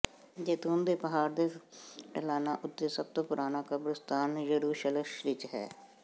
ਜੈਤੂਨ ਦੇ ਪਹਾੜ ਦੇ ਢਲਾਣਾਂ ਉੱਤੇ ਸਭ ਤੋਂ ਪੁਰਾਣਾ ਕਬਰਸਤਾਨ ਯਰੂਸ਼ਲਮ ਵਿਚ ਹੈ